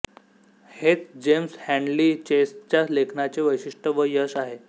हेच James Hadley चेसच्या लेखनाचे वैशिष्ट्य व यश आहे